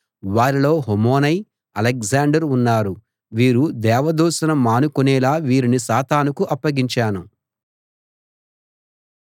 వారిలో హుమెనై అలెగ్జాండర్ ఉన్నారు వీరు దేవదూషణ మానుకొనేలా వీరిని సాతానుకు అప్పగించాను